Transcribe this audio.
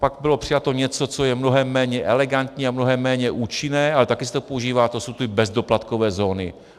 Pak bylo přijato něco, co je mnohem méně elegantní a mnohem méně účinné, ale taky se to používá - to jsou ty bezdoplatkové zóny.